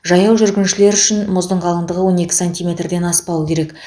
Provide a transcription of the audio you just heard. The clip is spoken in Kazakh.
жаяу жүргіншілер үшін мұздың қалыңдығы он екі сантиметрден аспауы керек